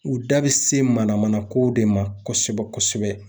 U da be se mana mana kow de ma kosɛbɛ kosɛbɛ.